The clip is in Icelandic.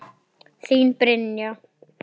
Þín, Brynja.